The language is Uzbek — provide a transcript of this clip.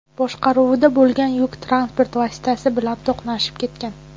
boshqaruvida bo‘lgan yuk transport vositasi bilan to‘qnashib ketgan.